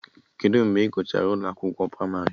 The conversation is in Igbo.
Kedụ mgbe Ị gụchara ụlọ akwụkwọ pramarị?